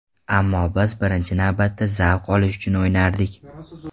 Ammo biz birinchi navbatda zavq olish uchun o‘ynardik.